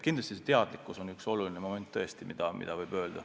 Kindlasti kõrgem teadlikkus on üks oluline moment tõesti.